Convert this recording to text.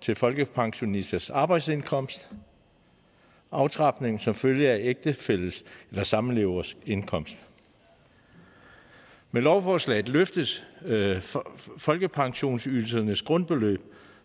til folkepensionisters arbejdsindkomst og aftrapning som følge af ægtefælles eller samlevers indkomst med lovforslaget løftes folkepensionsydelsernes grundbeløb